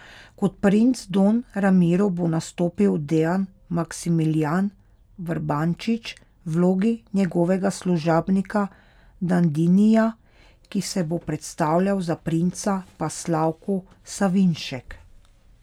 Kot princ Don Ramiro bo nastopil Dejan Maksimilijan Vrbančič, v vlogi njegovega služabnika Dandinija, ki se bo predstavljal za princa, pa Slavko Savinšek.